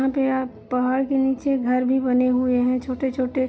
यहाँ पे आप पहाड़ के नीचे घर भी बने हुए है छोटे-छोटे।